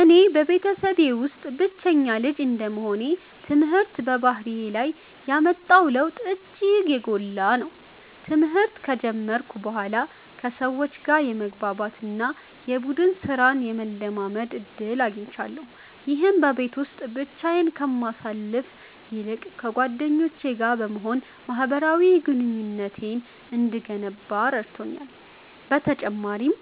እኔ በቤተሰቤ ውስጥ ብቸኛ ልጅ እንደመሆኔ፣ ትምህርት በባህሪዬ ላይ ያመጣው ለውጥ እጅግ የጎላ ነው። ትምህርት ከጀመርኩ በኋላ ከሰዎች ጋር የመግባባት እና የቡድን ሥራን የመለማመድ ዕድል አግኝቻለሁ። ይህም በቤት ውስጥ ብቻዬን ከማሳልፍ ይልቅ ከጓደኞቼ ጋር በመሆን ማኅበራዊ ግንኙነቴን እንድገነባ ረድቶኛል። በተጨማሪም፣